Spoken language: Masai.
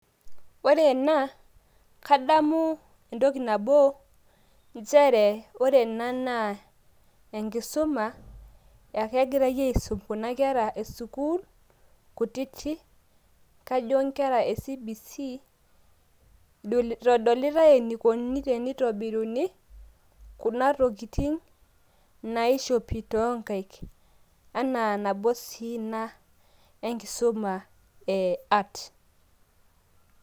Ore ena kadamu entoki nabo nchere ore ena naa enkisuma ake egirai aisum kuna kera e sukuul kutitik. Kajo nkera e CBC eitodolitai enikoni tenitobiruni kuna tokitin naishopi too nkaik enaa nabo sii ina enkisuma e art